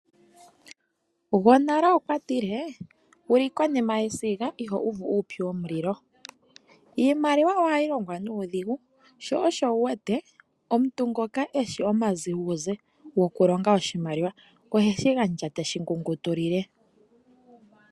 Ngonale okwatile, wuli konima yesinga iho uvu uupyu womulilo, iimaliwa ohadhilongwa nudhingu sho osho wuwete omuntu ngoka eshi oma uze uze ngokulonga oshimaliwa oheshingandja teshi ngungutile.